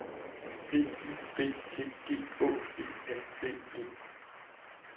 D Y B T G Å E N D E